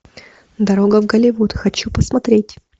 дорога в голливуд хочу посмотреть